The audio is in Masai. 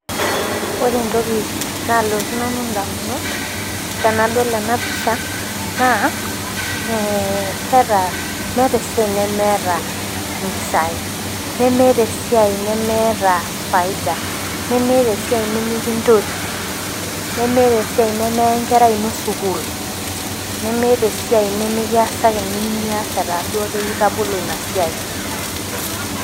ore entoki naalotu nanu idamunot tenadol ena ena pisha naa eketa meeta esiai nemeeta impisai nemeta esiai nemeta faida, nemeeta esiai nikintoti nemetaa esiai nemeya enkerai ino sukuul nemeta esiai nimikiasaki enoshikata duo etaa ibol esiai.